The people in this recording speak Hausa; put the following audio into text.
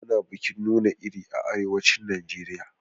Ana bikin nuna iri a arewacin Najeriya.